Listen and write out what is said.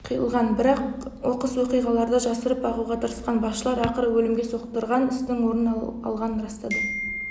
қиылған бірақ оқыс оқиғаларды жасырып бағуға тырысқан басшылар ақыры өлімге соқтырған істің орын алғанын растады